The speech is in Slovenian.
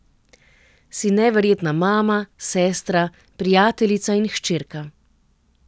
Si neverjetna mama, sestra, prijateljica in hčerka.